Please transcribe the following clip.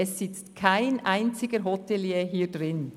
Es sitzt kein einziger Hotelier in diesem Saal.